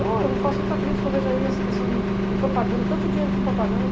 Eu faço muita crítica, eu vejo ai essa questão de propaganda, tanto dinheiro com propaganda.